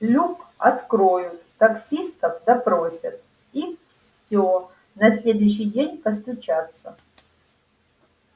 люк откроют таксистов допросят и все на следующий день постучатся